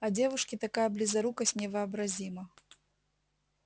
а девушке такая близорукость невообразима